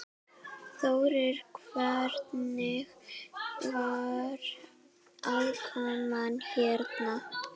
Þórir: Hvernig var aðkoman hérna?